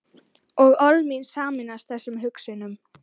Og orð mín sameinast þessum hugsunum.